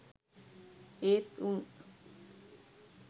ඒත් උන්.